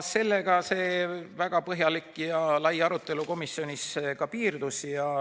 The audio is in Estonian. Sellega see väga põhjalik ja lai arutelu komisjonis piirdus.